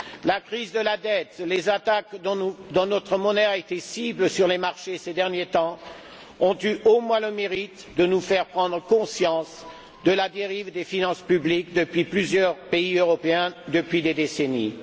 La crise de la dette, les attaques dont notre monnaie a été la cible sur les marchés ces derniers temps ont eu au moins le mérite de nous faire prendre conscience de la dérive des finances publiques de plusieurs pays européens depuis des décennies.